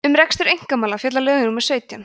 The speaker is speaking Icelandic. um rekstur einkamála fjalla lög númer sautján